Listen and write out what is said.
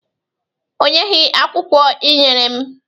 Onyeghị akwụkwọ ị nyere m.